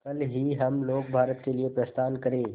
कल ही हम लोग भारत के लिए प्रस्थान करें